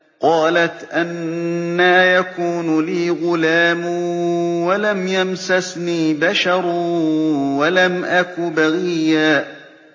قَالَتْ أَنَّىٰ يَكُونُ لِي غُلَامٌ وَلَمْ يَمْسَسْنِي بَشَرٌ وَلَمْ أَكُ بَغِيًّا